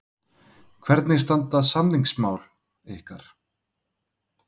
Hvernig standa samningamálin ykkar?